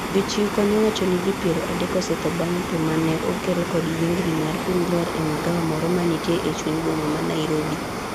Jochiw kony wacho ni ji piero adek osetho bang' pee mane okel kod yiengni mar piny lwar e magawa moro manitie e chuny boma ma Narobi